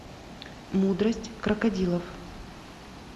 мудрость крокодилов